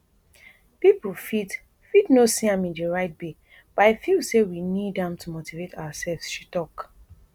pipo fit fit no see am in di right way but i feel say we need am to motivate ourselves she tok